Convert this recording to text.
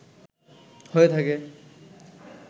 হয়ে থাকে